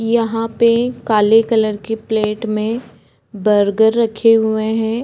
यहाँ पे काले कलर के प्लेट में बर्गर रखे हुए हैं।